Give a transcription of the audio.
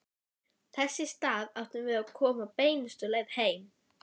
Þess í stað áttum við að koma beinustu leið heim.